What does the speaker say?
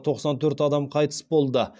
тоқсан төрт адам қайтыс болды